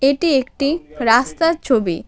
এটি একটি রাস্তার ছবি।